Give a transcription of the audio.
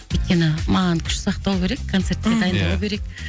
өйткені маған күш сақтау керек концертке мхм дайындалу керек